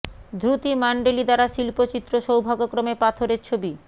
ধ্রুতি মানডিলি দ্বারা শিল্প চিত্র সৌভাগ্যক্রমে পাথর এর ছবি